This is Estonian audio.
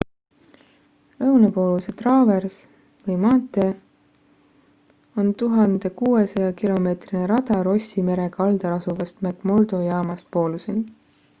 lõunapooluse traavers või maantee on 1600 km rada rossi mere kaldal asuvast mcmurdo jaamast pooluseni